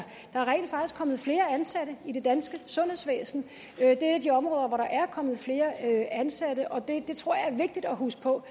kommet flere ansatte i det danske sundhedsvæsen det er et af de områder hvor der er kommet flere ansatte og det tror jeg er vigtigt at huske på